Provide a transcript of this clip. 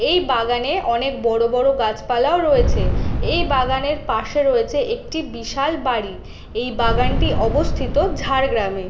এই বাগানে অনকে বড়ো বড়ো গাছ পালাও রয়েছে। এই বাগানের পশে রয়েছে একটি বিশাল বাড়ি। এই বাগানটি অবস্থিত ঝাড়গ্রামে --